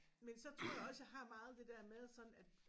Men så tror jeg også jeg har meget det der med sådan at